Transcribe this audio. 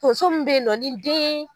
Tonso min bɛ ye nɔ ni den